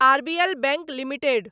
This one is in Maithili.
RBL bank limited